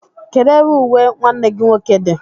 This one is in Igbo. Kedu ebe uwe nwanne gi nwoke gị di?